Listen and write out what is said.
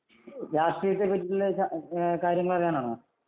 രാഷ്ട്രീയത്തെ പറ്റി കാര്യങ്ങൾ അറിയാനാണോ ?